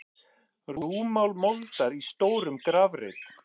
Rúmmál moldar í stórum grafreit.